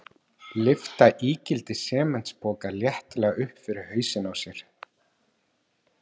Lyfta ígildi sementspoka léttilega upp fyrir hausinn á sér.